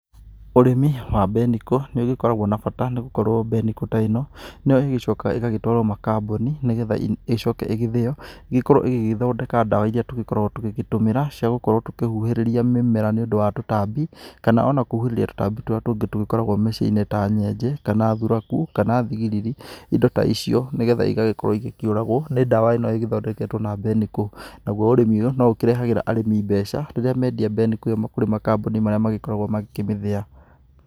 Ũrĩmi wa mbenikũ nĩũgĩkoragwo na bata, nĩgũkorwo mbenikũ ta ĩno, nĩo ĩgĩcokaga ĩgatwarwo makambũni, nĩgetha ĩcoke ĩgĩthìo, ĩgĩkorwo ĩgĩgĩthondeka dawa iria tũgĩkoragwo tũgĩgĩtũmĩra cia gũkorwo tũkĩhuhĩrĩria mĩmera nĩũndũ wa tũtambi. Kana ona kũhuhĩrĩrĩa tũtambi tũrĩa tũngĩ tũgĩkoragwo mĩciĩ-inĩ ta nyenje, kana thuraku, kana thigiriri. Indo ta icio, nĩgetha igagĩkorwo ikĩũragwo nĩ ndawa ĩno ĩgĩthondeketwo na mbenikũ. Naguo ũrĩmĩ ũyũ noũkĩrehagĩra arĩmi mbeca rĩrĩa mendia mbenikũ ĩo kũrĩ makambũni marĩa magĩkoragwo magĩkĩmĩthĩa.